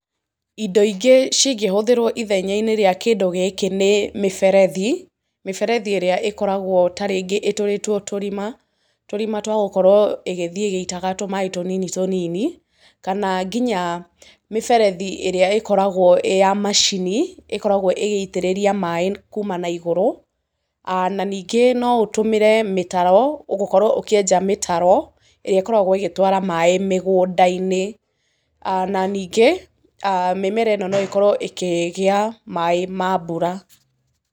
Indo ingĩ cingĩhũthĩrwo ithenya-inĩ rĩa kĩndũ gĩkĩ nĩ, mĩberethi, mĩberethi ĩrĩa ĩkoragwo ta rĩngĩ ĩtũrĩtwo tũrima, tũrima twa gũkorwo ĩgĩthiĩ ĩgĩitaga tũmaaĩ tũnini tũnini, kana nginya mĩberethi ĩrĩa ĩkoragwo ĩya macini ĩkoragwo ĩgĩitĩrĩria maaĩ kuuma na igũrũ. A na ningĩ no ũtũmĩre mĩtaro gũkorwo ũkĩenja mĩtaro ĩrĩa ĩkoragwo ĩgĩtwara maaĩ mĩgũnda-inĩ. A na ningĩ mĩmera ĩno no ĩkorwo ĩkĩgĩa maaĩ mambura.